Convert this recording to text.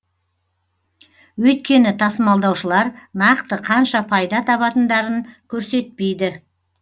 өйткені тасымалдаушылар нақты қанша пайда табатындарын көрсетпейді